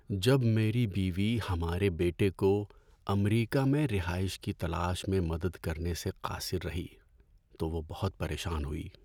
جب میری بیوی ہمارے بیٹے کو امریکہ میں رہائش کی تلاش میں مدد کرنے سے قاصر رہی تو وہ بہت پریشان ہوئی۔